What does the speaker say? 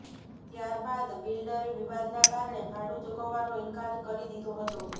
ત્યારબાદ બિલ્ડરે વિવાદના કારણે ભાડું ચૂકવવાનો ઇન્કાર કરી દીધો હતો